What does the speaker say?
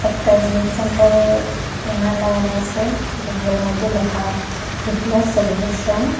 একটা জিম সেন্টারে ব্যানার লাগানি আসে ব্যানারের মধ্যে লেখা ফিটনেস সেলিব্রেশন ।